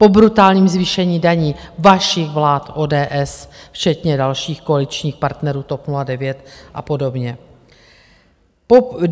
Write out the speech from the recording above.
Po brutálním zvýšení daní vašich vlád ODS, včetně dalších koaličních partnerů, TOP 09 a podobně.